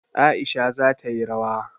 Aisha za ta yi rawa.